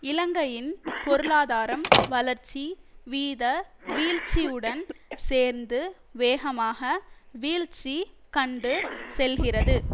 இலங்கையின் பொருளாதாரம் வளர்ச்சி வீத வீழ்ச்சியுடன் சேர்ந்து வேகமாக வீழ்ச்சி கண்டு செல்கிறது